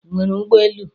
Ị nwere ụgbọ elu?